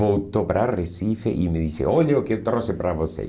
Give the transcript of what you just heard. Voltou para Recife e me disse, olha o que eu trouxe para você.